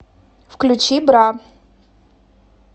включи бра